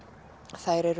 þær eru